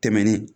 Tɛmɛnen